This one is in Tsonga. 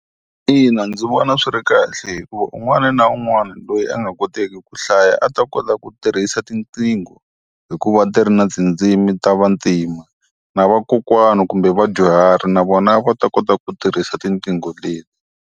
Ina, ndzi vona swi ri kahle hikuva un'wani na un'wani loyi a nga koteki ku hlaya a ta kota ku tirhisa tinqingho, hi ku va ti ri na tindzimi ta vatima. Na vakokwana kumbe vadyuhari na vona a va ta kota ku tirhisa tinqingho leti.